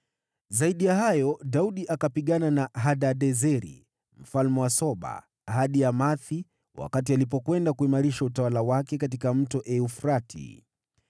Zaidi ya hayo, Daudi akapigana na Hadadezeri mfalme wa Soba, hadi Hamathi, wakati alikwenda kuimarisha utawala wake katika Mto Frati.